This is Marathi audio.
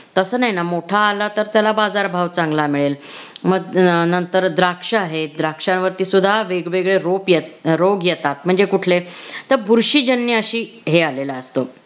तस नाही न मोठा आला तर त्याला बाजार भाव चांगला मिळेल म अह नंतर द्राक्ष आहेत द्राक्ष्यांवरती सुद्धा वेगवेगळे रोप~ रोग येतात म्हणजे कुटले तर बुरशीजन्य अशी हे आलेलं असतं